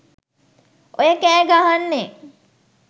ඔය කෑ ගහන්නේ